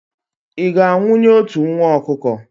ị ga-anwụnye otu nwa ọkụkọ?